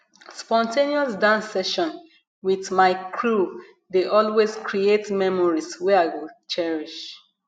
spontaneous dance session with my crew dey always create memories wey i go cherish